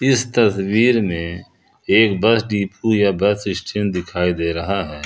इस तस्वीर में एक बस डिपो या बस स्टैंड दिखाई दे रहा है।